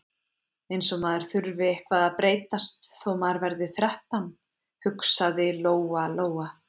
Eins og maður þurfi eitthvað að breytast þó maður verði þrettán, hugsaði Lóa- Lóa.